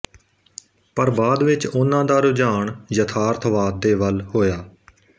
ਪਰ ਬਾਅਦ ਵਿੱਚ ਉਹਨਾਂ ਦਾ ਰੁਝਾਨ ਯਥਾਰਥਵਾਦ ਦੇ ਵੱਲ ਹੋਇਆ